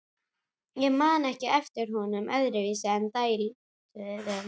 Ég man ekki eftir honum öðruvísi en dælduðum.